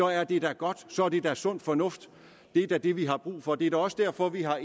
er det da godt så er det er sund fornuft det er da det vi har brug for det er da også derfor at vi har